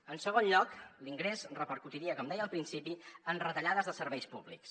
en segon lloc l’ingrés repercutiria com deia al principi en retallades de serveis públics